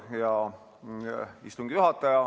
Hea istungi juhataja!